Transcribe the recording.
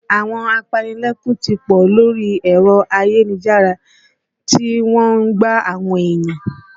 Àwọn apanilẹ́kún ti pọ̀ lórí èrọ ayélujára tí wọ́n ń gbá àwọn ènìyàn